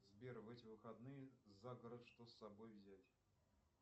сбер в эти выходные за город что с собой взять